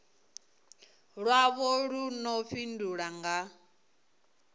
lwavho lu ḓo fhindulwa nga